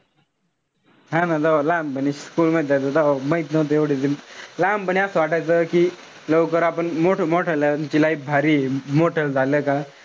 हा ना जव्हा लहानपणी school मध्ये जायचो तेव्हा माहित नव्हतं एवढं. लहानपणी असं वाटायचं कि लवकर आपण मोठं मोठाल्याची life भारी ए. मोठं झालं का,